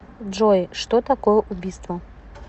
джой что такое убийство